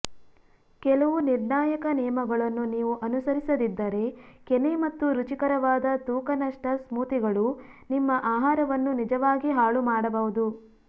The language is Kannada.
ಕೆಲವು ನಿರ್ಣಾಯಕ ನಿಯಮಗಳನ್ನು ನೀವು ಅನುಸರಿಸದಿದ್ದರೆ ಕೆನೆ ಮತ್ತು ರುಚಿಕರವಾದ ತೂಕ ನಷ್ಟ ಸ್ಮೂಥಿಗಳು ನಿಮ್ಮ ಆಹಾರವನ್ನು ನಿಜವಾಗಿ ಹಾಳುಮಾಡಬಹುದು